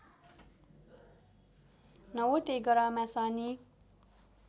नौवटै ग्रहमा शनि